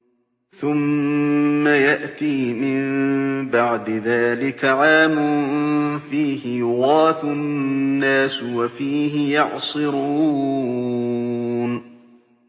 ثُمَّ يَأْتِي مِن بَعْدِ ذَٰلِكَ عَامٌ فِيهِ يُغَاثُ النَّاسُ وَفِيهِ يَعْصِرُونَ